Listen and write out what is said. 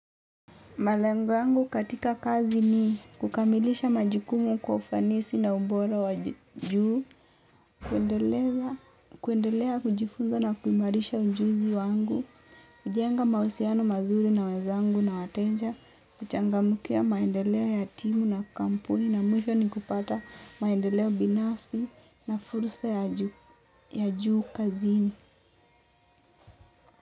Malengo yangu katika kazi ni kukamilisha majukumu kwa ufanisi na ubora wa juu. Kuendelea kujifunza na kuimarisha ujuzi wangu. Kujenga mawasiliano mazuri na wenzangu na wateja. Kuchangamkia maendeleo ya timu na kampuni na mwisho ni kupata maendeleo binafsi na fursa ya juu kazini.